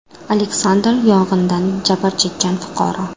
Aleksandr, yong‘indan jabr chekkan fuqaro.